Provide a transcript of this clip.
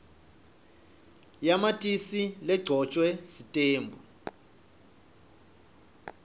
yamatisi legcotjwe sitembu